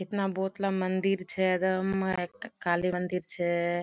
हतना बोहोतला मंदिर छे एकटा काली मंदिर छे।